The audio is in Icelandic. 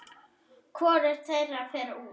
Hvorugt þeirra fer út.